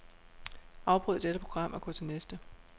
Afbryd dette program og gå til næste.